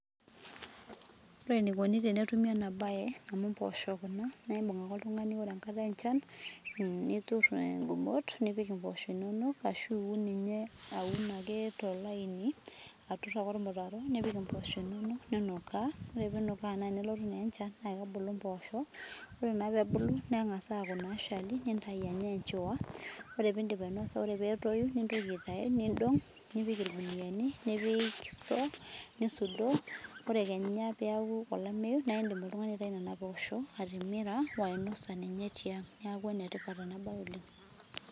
Ore eneikuni tenetumi ena bae, amuu impoosho kuna naibung' ake ltung'ani enkata enchan, niturr ingumot nipik impoosho inono ashu iun ninye aun ake tolani aturr ake olmutaro nipik ake impoosho inono ninukaa kore piinuka ore peelutu enchan naa kebulu naa impoosho ore naa peebulu neng'asa aaku naashali nitayu anya enchowa ore piidip ainasa ore peetoyu nintoki aitayu niidong' nipik ilguniyani nipik cs[store]cs nisudoo oe keenya peeku olameyu naidim oltung'ani aitayu nena poosho atimira ashu ainasa ninye tiang' neeku enetipat ninye ena bae oleng' .